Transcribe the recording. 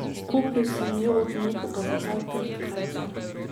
Kupil sem jo od nekoga za ta trd krajcar.